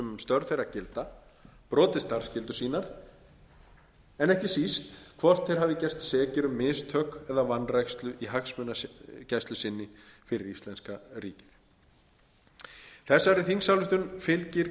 störf þeirra gilda brotið starfsskyldur sínar en ekki síst hvort þeir hafi gerst sekir um mistök eða vanrækslu í hagsmunagæslu sinni fyrir íslenska ríkið þessari þingsályktun fylgir